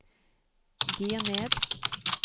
gir ned